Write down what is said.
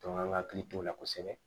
an ka hakili t'o la kosɛbɛ